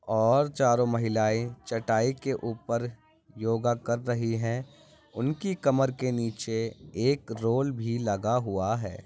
और चारो महिलाए चटाई के ऊपर योग कर रही है उनकी कमर के निचे एक रोल भी लगा हुआ है।